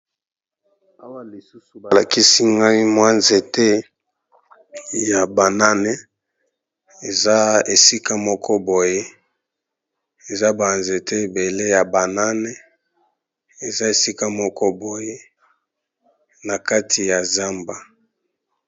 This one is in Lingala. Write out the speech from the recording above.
Awa lisusu ba lakisi ngai mwa nzete ya banane, eza esika moko boye eza ba nzete ebele ya banane eza esika moko boye na kati ya zamba.